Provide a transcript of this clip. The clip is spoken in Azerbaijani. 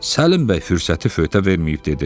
Səlim bəy fürsəti fövtə verməyib dedi: